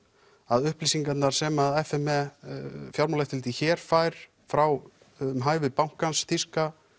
að upplýsingarnar sem f m e hér fær frá um hæfi bankans þýska